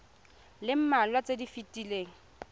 le mmalwa tse di fetileng